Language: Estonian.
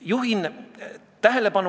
Kusjuures meil on väga mitmekultuuriline seltskond.